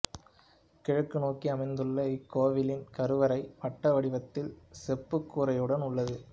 கிழக்கு நோக்கி அமைந்துள்ள இக்கோவிலின் கருவறை வட்ட வடிவத்தில் செப்புக்கூரையுடன் உள்ளது